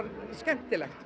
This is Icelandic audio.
skemmtilegt